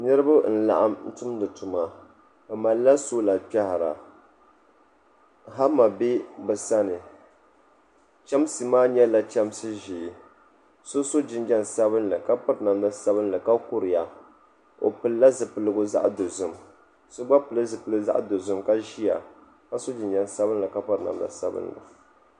Niriba n-laɣim tumdi tuma bɛ malila sola kpɛhira hama be bɛ sani chamsi maa nyɛla chamsi ʒee so so jinjam sabinli ka piri namda sabinli ka kuriya o pilila zipiligu zaɣ'dozim ka so gba pili zipiligu zaɣ'dozim ka ʒiya ka so jinjam sabinli ka piri namda sabinli.